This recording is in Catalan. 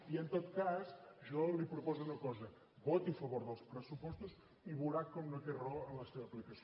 i en tot cas jo li proposo una cosa voti a favor dels pressupostos i veurà com no té raó en la seva aplicació